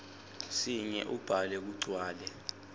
sinye ubhale kugcwale